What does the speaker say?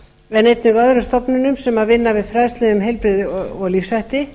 en einnig öðrum stofnunum sem vinna við fræðslu um heilbrigði og lífshætti